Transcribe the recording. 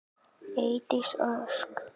Eydís Ósk.